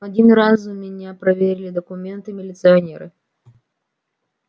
один раз у меня проверили документы милиционеры